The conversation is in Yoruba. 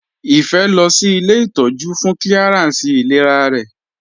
Ife lọ sí ilé ìtọ́jú fún clearance ìlera rẹ̀.